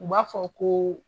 U b'a fɔ ko